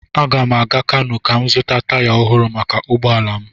Aga m aga Kanu ka m zụta taya ọhụrụ maka ụgbọ ala m.